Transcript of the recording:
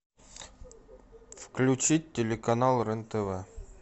включить телеканал рен тв